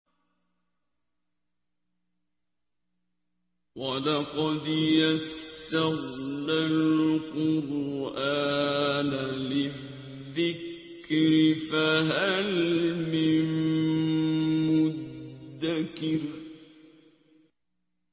وَلَقَدْ يَسَّرْنَا الْقُرْآنَ لِلذِّكْرِ فَهَلْ مِن مُّدَّكِرٍ